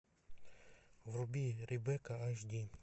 вруби ребекка аш ди